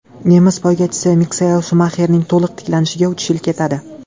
Nemis poygachisi Mixael Shumaxerning to‘liq tiklanishiga uch yil ketadi.